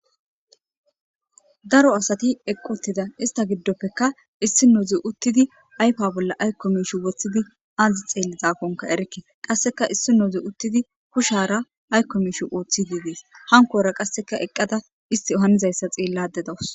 daro asati eqqi uttida ista giddoppeka issinozi uttidi aypa bolla aykko miishi woththidi azi xeellizaakonka erikke qasseka issinozi uttidi kushara aykko miishi ooththidii dees hankora qasseka eqqada isti hanizayssa xeellade dawos